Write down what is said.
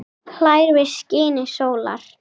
hlær við skini sólar